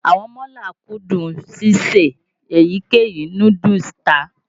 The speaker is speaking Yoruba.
Àwọn mọ́là kúndùn síse èyíkéyìí núdúùsù tà.